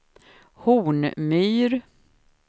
Hornmyr